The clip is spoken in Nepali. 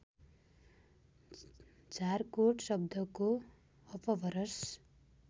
झारकोट शब्दको अपभ्रस